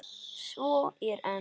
Svo er enn.